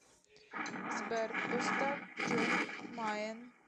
сбер поставь джон майен